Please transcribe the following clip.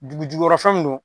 Dugujugukɔrɔfɛnw don